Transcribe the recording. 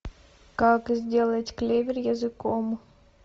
как сделать клевер языком